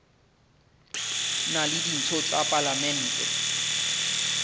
na le ditho tsa palamente